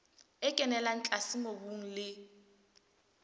e kenella tlase mobung le